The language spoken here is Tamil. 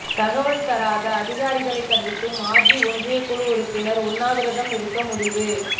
தகவல் தராத அதிகாரிகளை கண்டித்து மாஜி ஒன்றிய குழு உறுப்பினர் உண்ணாவிரதம் இருக்க முடிவு